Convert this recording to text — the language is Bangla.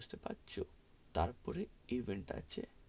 বুঝতে পারছো, তার পরে event আছে,